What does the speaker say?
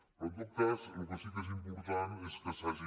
però en tot cas el que sí que és important és que s’hagi